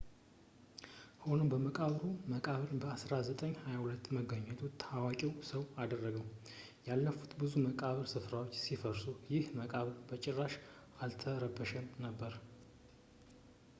ሆኖም የመቃብሩ መቃብር በ 1922 መገኘቱ ታዋቂ ሰው አደረገው ያለፉት ብዙ የመቃብር ስፍራዎች ሲዘርፉ ይህ መቃብር በጭራሽ አልተረበሸም ነበር